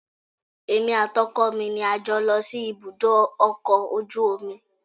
Èmi àti ọkọ mi ni a jọ lọ sí ibùdó ọkọ̀ ojú omi